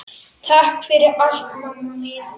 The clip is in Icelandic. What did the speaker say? Takk fyrir allt, mamma mín.